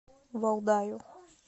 валдаю